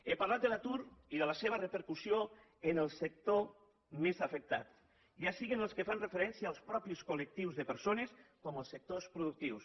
he parlat de l’atur i de la seva repercussió en el sector més afectat ja sigui en els que fan referència als mateixos col·lectius de persones com els sectors productius